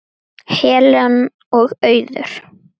Helen og Auður.